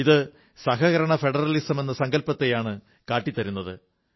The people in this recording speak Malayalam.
ഇത് സഹകരണ ഫെഡറിലസമെന്ന സങ്കല്പ്പത്തെയാണ് കാട്ടിത്തരുന്നത്